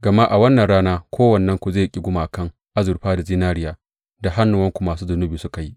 Gama a wannan rana kowannenku zai ƙi gumakan azurfa da zinariya da hannuwanku masu zunubi suka yi.